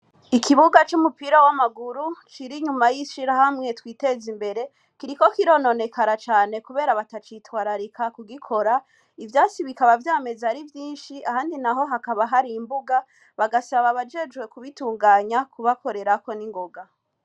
Ikibuga c'umupira w'amaguru cira inyuma y'ishira hamwe twiteze imbere kiriko kirononekara cane, kubera batacitwararika kugikora ivyasi bikaba vyameze ari vyinshi handi na ho hakaba hari imbuga bagasaba bajejwe kubitunganya kubakorerako ningoga.